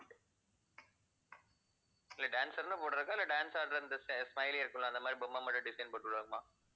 இல்லை dancer ன்னு போடுறதா இல்ல dance ஆடுற இந்த sa~ smiley இருக்கும்ல, அந்த மாதிரிப் பொம்மை மட்டும் design போட்டுவிடணுமா?